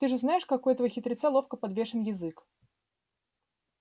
ты же знаешь как у этого хитреца ловко подвешен язык